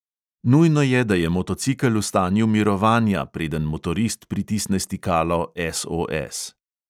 Nujno je, da je motocikel v stanju mirovanja, preden motorist pritisne stikalo SOS.